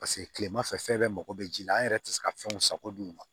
Paseke kilema fɛ fɛn bɛɛ mago bɛ ji la an yɛrɛ tɛ se ka fɛnw sako dun